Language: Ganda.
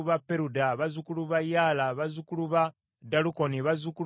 bazzukulu ba Yaala, bazzukulu ba Dalukoni, bazzukulu ba Gidderi,